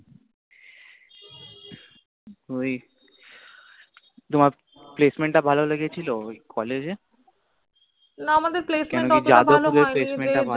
ওই তোমার placement টা ভালো লেগেছিল, ওই College এ? না আমাদের Placement ওতটা ভালো হয়নি